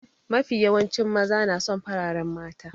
Mafi yawancin maza na son fararen mata.